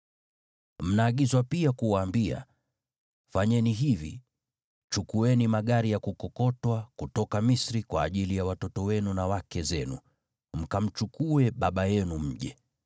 “Mnaagizwa pia kuwaambia, ‘Fanyeni hivi: Chukueni magari ya kukokotwa kutoka Misri, kwa ajili ya watoto wenu na wake zenu, mkamchukue baba yenu mje.